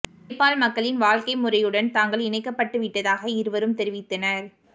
நேபால் மக்களின் வாழ்க்கை முறையுடன் தாங்கள் இணைக்கப்பட்டு விட்டதாக இருவரும் தெரிவித்தனர்